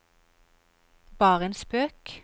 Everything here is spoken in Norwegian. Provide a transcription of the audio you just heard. bare en spøk